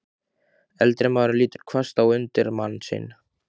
Eldri maðurinn lítur hvasst á undirmann sinn.